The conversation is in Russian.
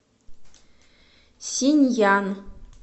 синьян